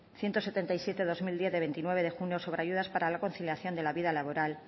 ciento setenta y siete barra dos mil diez de veintinueve de junio sobre ayudas para la conciliación de la vida laboral